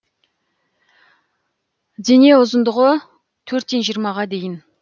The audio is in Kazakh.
дене ұзындығы төрттен жиырмаға дейін